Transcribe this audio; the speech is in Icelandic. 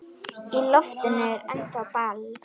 Í loftinu er ennþá ball.